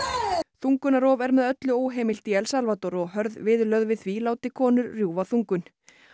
þungunarrof er með öllu óheimilt í El Salvador og hörð viðurlög við því láti konur rjúfa þungun